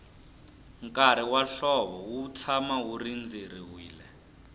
nkarhi wa hlovo wu tshama wu rindzeriwile